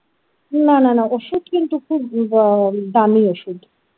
না না না ওষুধ কিন্তু খুব হম দামি ওষুধ।